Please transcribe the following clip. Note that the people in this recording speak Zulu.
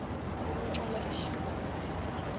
ukuncela ishisa amakhalori